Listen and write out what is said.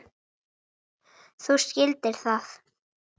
Þú skildir það.